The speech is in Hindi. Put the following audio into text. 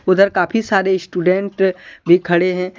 उधर काफी सारे स्टूडेंट भी खड़े है।